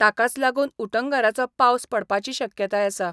ताकाच लागून उटंगाराचो पावस पडपाची शक्यताय आसा.